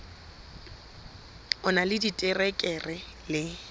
o na le diterekere le